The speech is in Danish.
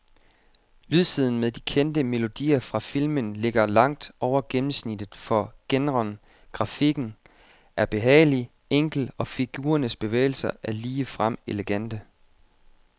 Lydsiden med de kendte melodier fra filmen ligger langt over gennemsnittet for genren, grafikken er behagelig enkel og figurernes bevægelser er ligefrem elegante.